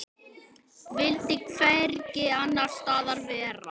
Vildi hvergi annars staðar vera.